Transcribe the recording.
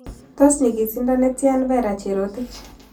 Tos' nyigisiindo ne tyan vera cherotich